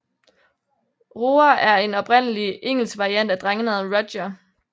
Roger er en oprindelig engelsk variant af drengenavnet Rodger